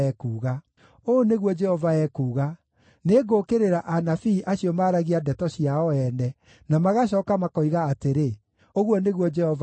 Ũũ nĩguo Jehova ekuuga, “Nĩngũũkĩrĩra anabii acio maaragia ndeto ciao ene, na magacooka makoiga atĩrĩ, ‘Ũguo nĩguo Jehova oiga.’